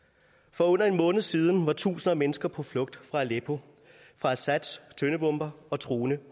for under en måned siden var tusinder af mennesker på flugt fra aleppo fra assads tøndebomber og truende